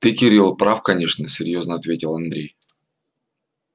ты кирилл прав конечно серьёзно ответил андрей